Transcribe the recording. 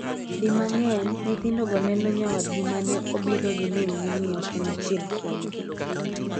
Di mang'eny, nyithindogo neno nyawadgi mane obiro gi mingi ni ok en achiel kuomgi.